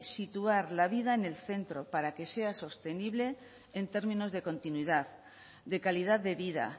situar la vida en el centro para que sea sostenible en términos de continuidad de calidad de vida